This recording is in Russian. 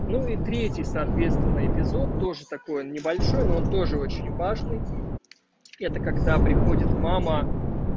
ну и третий соответственно эпизод тоже такой небольшой но он тоже очень важный это когда приходит мама